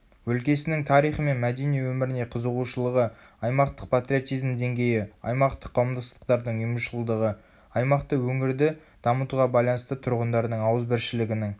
өлкесінің тарихы мен мәдени өміріне қызығушылығы аймақтық патриотизм деңгейі аймақтық қауымдастықтардың ұйымшылдығы аймақты өңірді дамытуға байланысты тұрғындардың ауызбіршілігінің